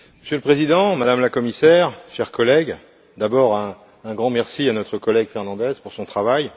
Monsieur le Président, Madame la Commissaire, chers collègues, j'adresse tout d'abord un grand merci à notre collègue Fernandes pour son travail.